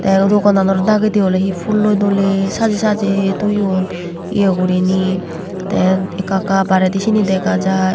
te udukkanonor dagendi ole dole pulloi saje saje toyon ye gurine te ekka ekka barendi siani dega jai.